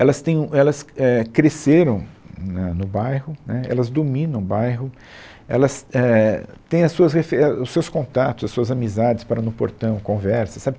Elas tem um, elas é, cresceram hum né no bairro, né, elas dominam o bairro, elas é, têm as suas refe, é, os seus contatos, as suas amizades, para no portão, conversa, sabe